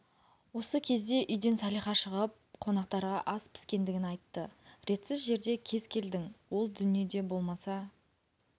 осы кезде үйден салиха шығып қонақтарға ас піскендігін айтты ретсіз жерде кез келдің ол дүниеде болмаса